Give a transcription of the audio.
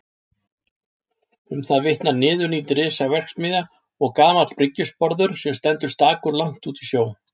Um það vitnar niðurnídd risaverksmiðja og gamall bryggjusporður sem stendur stakur langt úti í sjó.